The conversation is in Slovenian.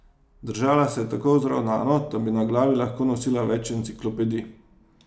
Držala se je tako vzravnano, da bi na glavi lahko nosila več enciklopedij.